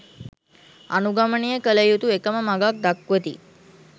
අනුගමනය කළ යුතු එකම මඟක් දක්වති.